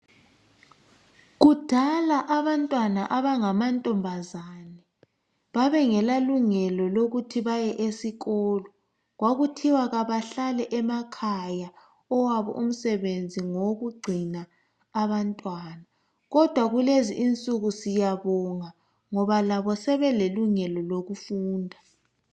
Kudala abantwana abangamantombazana, babengalalungelo lokuthi, baye esikolo. Kwakuthiwa bahlale emakhaya. Owabo unsebenzi, ngowokugcina abantwana, kodwa kulezi insuku siyabonga ngoba labo sebelelungelo lokufunda.